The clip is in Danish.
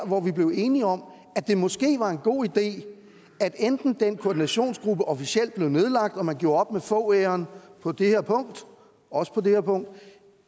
hvor vi blev enige om at det måske var en god idé enten at den koordinationsgruppe officielt blev nedlagt og man gjorde op med fogh æraen på det her punkt også på det her punkt